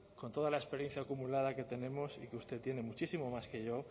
con toda la experiencia acumulada que tenemos y que usted tiene muchísimo más que yo